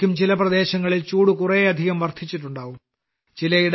അപ്പോഴേയ്ക്കും ചില പ്രദേശങ്ങളിൽ ചൂടു കുറേയധികം വർദ്ധിച്ചിട്ടുണ്ടാകും